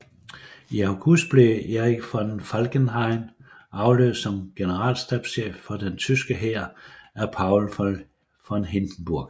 I august blev Erich von Falkenhayn afløst som generalstabschef for den tyske hær af Paul von Hindenburg